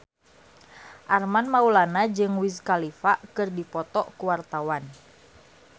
Armand Maulana jeung Wiz Khalifa keur dipoto ku wartawan